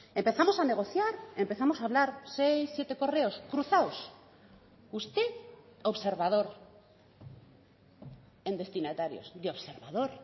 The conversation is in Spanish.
empezamos a negociar empezamos a hablar seis siete correos cruzados usted observador en destinatarios de observador